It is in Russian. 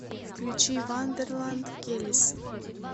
включи вандерланд келис